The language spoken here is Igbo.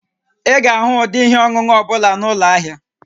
Ị ga-ahụ ụdị ihe ọṅụṅụ ọ bụla na ụlọ ahịa